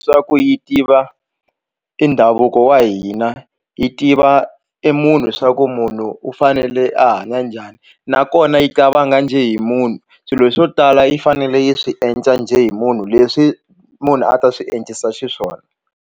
Swa ku yi tiva i ndhavuko wa hina yi tiva i munhu swa ku munhu u fanele a hanya njhani nakona yi qabanga njhe hi munhu swilo swo tala yi fanele yi swi endla njhe hi munhu leswi munhu a ta swi endlisa xiswona.